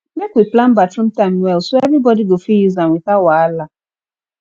make we plan bathroom time well so everybody go fit use am without wahala